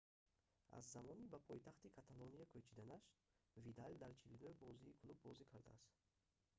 аз замони ба пойтахти каталония кӯчиданаш видал дар 49 бозии клуб бозӣ кардааст